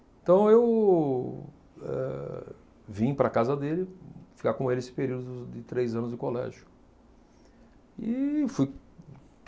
Então, eu eh vim para a casa dele, ficar com ele esse período de de três anos de colégio. E fui